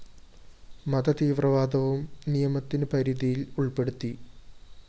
മത തീവവ്രാദവും നിയമത്തിനു പരിധിയില്‍ ഉള്‍പ്പെടുത്തി